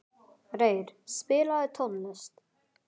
Reyr, spilaðu tónlist.